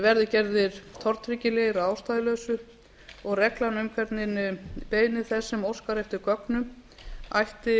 verði gerðir tortryggilegir að ástæðulausu og reglan um hvernig beiðni þess sem óskar eftir gögnum ætti